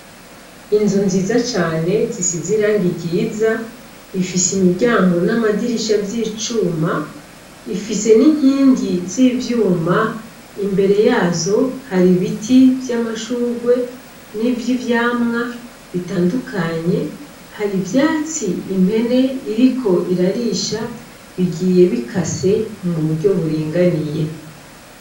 Inzu nziza cane zisize irangi ryiza, bifise imiryango n'amadirisha vy'icuma; ifise n'inkingi z'ivyuma; imbere yazo hari ibiti vy'amashurwe n'ivy'ivyamwa bitandukanye. Hari ivyatsi impene iriko irarisha bigiye bikase mu buryo buringaniye.